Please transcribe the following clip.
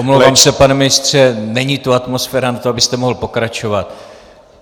Omlouvám se, pane ministře, není tu atmosféra na to, abyste mohl pokračovat.